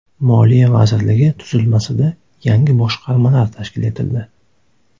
Moliya vazirligi tuzilmasida yangi boshqarmalar tashkil etildi.